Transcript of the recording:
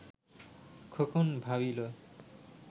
Khokon ভাবিল